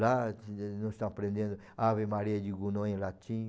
Lá, nós estamos aprendendo Ave Maria de Gounod em latim.